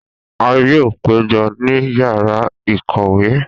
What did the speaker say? A yoo pejọ ni yara ikowe.